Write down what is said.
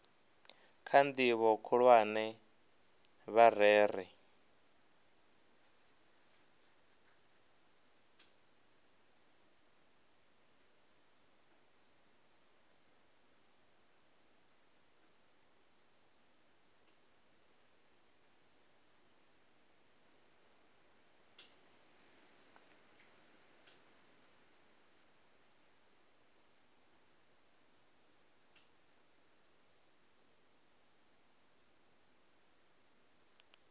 kha ndivho khulwane vha rere